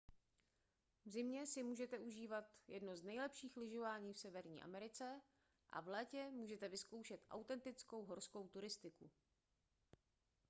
v zimě si můžete užívat jedno z nejlepších lyžování v severní americe a v létě můžete vyzkoušet autentickou horskou cyklistiku